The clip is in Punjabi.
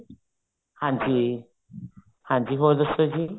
ਹਾਂਜੀ ਹਾਂਜੀ ਹੋਰ ਦੱਸੋ ਜੀ